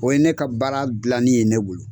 O ye ne ka baara dilanni ye ne bolo